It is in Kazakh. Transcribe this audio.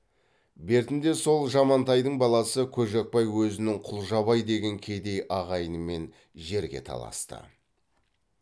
бертінде сол жамантайдың баласы көжекбай өзінің құлжабай деген кедей ағайынымен жерге таласты